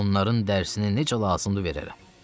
Onların dərsini necə lazımdır verərəm.